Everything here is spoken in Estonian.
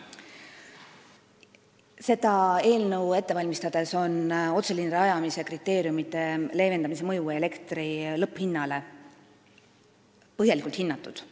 Seda eelnõu ette valmistades on otseliinide rajamise kriteeriumide leevendamise mõju elektri lõpphinnale põhjalikult hinnatud.